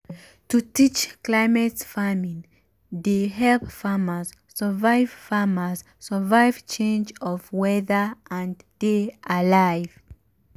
to teach climate farming dey help farmers survive farmers survive change of weather and dey alive.